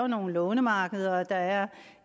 nogle lånemarkeder og der er